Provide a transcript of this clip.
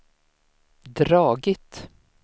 dragit